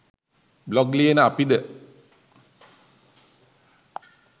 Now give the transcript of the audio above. blog ලියන අපි ද